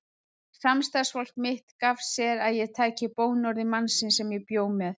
Samstarfsfólk mitt gaf sér að ég tæki bónorði mannsins sem ég bjó með.